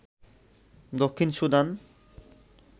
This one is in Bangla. দক্ষিণ সুদান